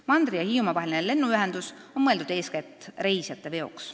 " Mandri ja Hiiumaa vaheline lennuühendus on mõeldud eeskätt reisijateveoks.